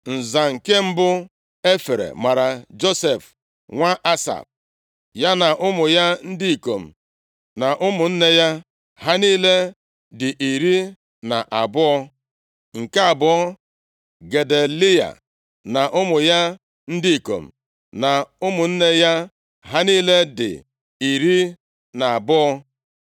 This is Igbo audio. Nza nke mbụ e fere mara Josef nwa Asaf, ya na ụmụ ya ndị ikom na ụmụnne ya. Ha niile dị iri na abụọ (12). Nke abụọ, Gedaliya na ụmụ ya ndị ikom na ụmụnne ya. Ha niile dị iri na abụọ (12).